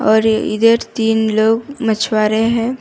और इधर तीन लोग मछुआरे हैं।